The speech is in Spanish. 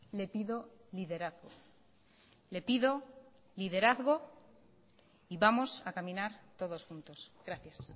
le pido liderazgo le pido liderazgo y vamos a caminar todos juntos gracias